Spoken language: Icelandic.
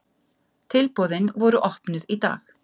Tilboðin voru opnuð í dag